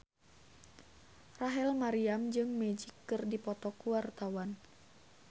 Rachel Maryam jeung Magic keur dipoto ku wartawan